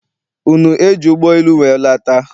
Unu eji ụgbọ elu wee lata?